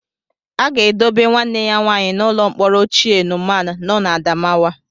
A ga-edobe nwanne ya nwaanyị n'ụlọ mkpọrọ ochie Numan nọ n'Adamawa.